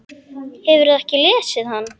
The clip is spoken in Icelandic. Hefurðu ekki lesið hann?